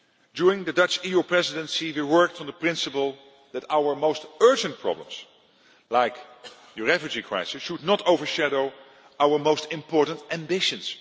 During the Dutch EU Presidency we worked on the principle that our most urgent problems like the refugee crisis should not overshadow our most important ambitions.